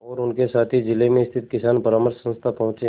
और उनके साथी जिले में स्थित किसान परामर्श संस्था पहुँचे